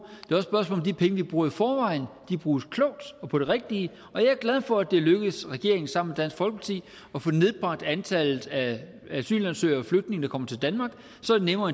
det er vi bruger i forvejen bruges klogt og på det rigtige jeg er glad for at det er lykkedes regeringen sammen med dansk folkeparti at få nedbragt antallet af asylansøgere og flygtninge der kommer til danmark så er det nemmere